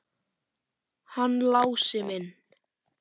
Hann Lási minn!